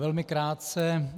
Velmi krátce.